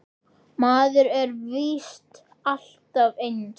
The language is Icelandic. Maður er víst alltaf eins!